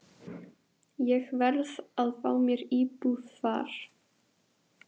Ég verð að fá mér íbúð þar.